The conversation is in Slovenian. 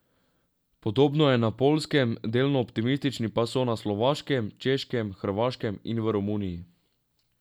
Podobno je na Poljskem, delno optimistični pa so na Slovaškem, Češkem, Hrvaškem in v Romuniji.